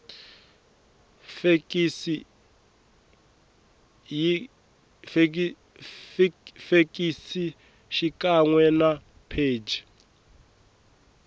fekisi xikan we na pheji